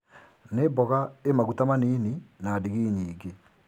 Nĩmboga ĩ maguta manini na ngigi nyingĩ.